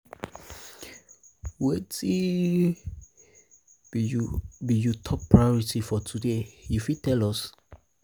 wetin be you top priority for today you fit tell us?